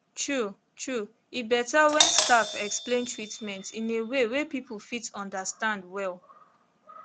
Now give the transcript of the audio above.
true true e better when staff explain treatment in way wey people fit understand well